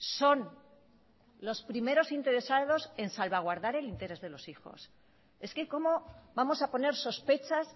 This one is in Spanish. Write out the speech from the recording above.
son los primeros interesados en salvaguardar el interés de los hijos es que cómo vamos a poner sospechas